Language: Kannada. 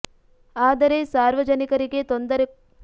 ಆದರೆ ಸಾರ್ವಜನಿಕರಿಗೆ ತೊಂದರೆ ಕೊಟ್ಟು ಹೋರಾಟ ಮಾಡುವುದು ಸರಿಯಲ್ಲ ಎಂದು ಆಕ್ಷೇಪಿಸಿದರು